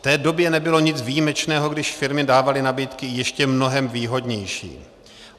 V té době nebylo nic výjimečného, když firmy dávaly nabídky ještě mnohem výhodnější.